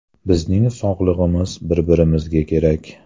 Bizning sog‘lig‘imiz bir-birimizga kerak.